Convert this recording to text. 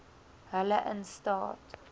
hulle in staat